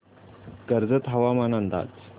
कर्जत हवामान अंदाज